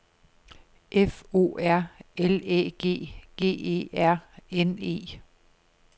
F O R L Æ G G E R N E